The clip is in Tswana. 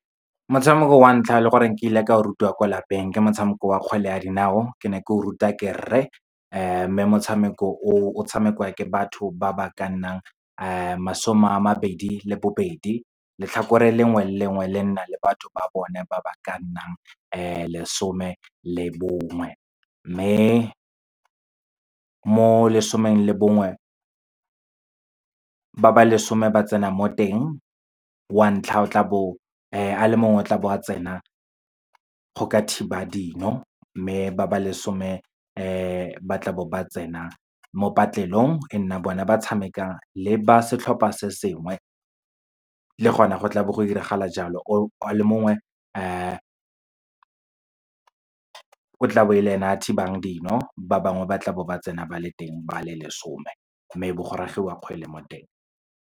Motshameko wa ntlha e le goreng ke ile ka o rutiwa kwa lapeng, ke motshameko wa kgwele ya dinao, ke ne ke o rutiwa ke rre. Mme motshameko o, o tshamekiwa ke batho ba ba ka nnang masome a mabedi le bobedi. Letlhakore lengwe le lengwe le nna le batho ba bone ba ba ka nnang lesome le bongwe. Mme mo lesomeng le bongwe, ba ba lesome ba tsena mo teng, wa ntlha o tla bo a le mongwe o tla bo a tsena go ka thiba dino. Mme ba ba lesome ba tla bo ba tsena mo patlelong e nna bone ba tshameka le ba setlhopha se sengwe. Le gona, go tla bo go diragala jalo o a le mongwe, o tla bo e le ene a thibang dino, ba bangwe ba tlabo ba tsena ba le teng ba le lesome, mme bo go ragiwa kgwele mo teng.